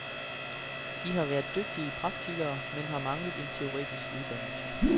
De har været dygtige praktikere, men har manglet en teoretisk uddannelse.